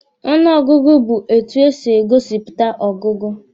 Ọnụ ọgụgụ bụ etu e si e gosipụta ọgụgụ